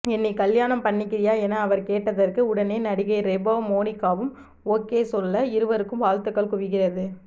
என்னை கல்யாணம் பண்ணிக்கிறியா என அவர் கேட்டதற்கு உடனே நடிகை ரெபா மோனிகாவும் ஓகே சொல்ல இருவருக்கும் வாழ்த்துக்கள் குவிகிறது